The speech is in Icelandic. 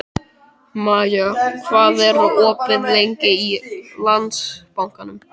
Maja, hvað er opið lengi í Landsbankanum?